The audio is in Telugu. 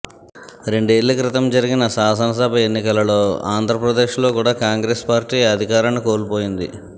రెండేళ్ల క్రితం జరిగిన శాసనసభ ఎన్నికలలో ఆంధ్రప్రదేశ్లో కూడా కాంగ్రెస్ పార్టీ అధికారాన్ని కోల్పోయింది